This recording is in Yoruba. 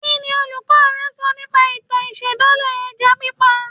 Kí ni olùkọ́ rẹ sọ nípa ìtàn ìṣẹ̀dálẹ̀ ẹja pípa